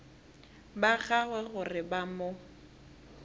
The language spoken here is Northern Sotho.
ba gagwe gore ba mo